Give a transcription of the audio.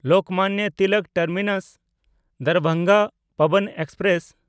Lokmanya Tilak ᱴᱟᱨᱢᱤᱱᱟᱥ–ᱫᱟᱨᱵᱷᱟᱝᱜᱟ Pawan express